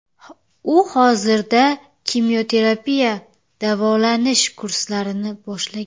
U hozirda kimyoterapiya davolanish kurslarini boshlagan.